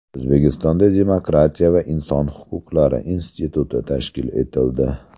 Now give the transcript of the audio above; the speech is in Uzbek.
O‘zbekistonda Demokratiya va inson huquqlari instituti tashkil etildi.